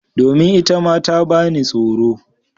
Domin itama ta bani tsoro.